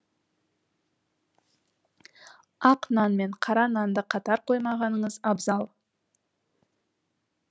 ақ нан мен қара нанды қатар қоймағаныңыз абзал